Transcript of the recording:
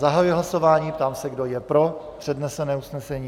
Zahajuji hlasování, ptám se, kdo je pro přednesené usnesení.